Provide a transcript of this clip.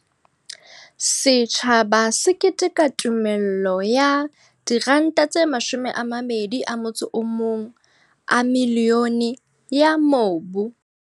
Setjhaba se keteka tumella no ya R21 milione ya mobu.